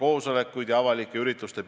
Lugupeetud peaminister!